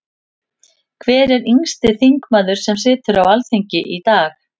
Hver er yngsti þingmaður sem situr á Alþingi í dag?